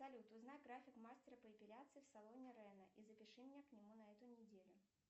салют узнай график мастера по эпиляции в салоне рэна и запиши меня к нему на эту неделю